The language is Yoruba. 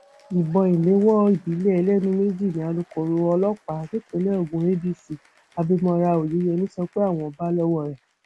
ìbọn ìléwọ ìbílẹ ẹlẹnu méjì ni alūkkoro ọlọpàá nípínlẹ ogun adc abimora oyeyèmí sọ pé àwọn bá lọwọ rẹ